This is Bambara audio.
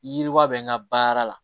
Yiriwa bɛ n ka baara la